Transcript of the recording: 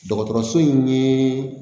Dɔgɔtɔrɔso in ye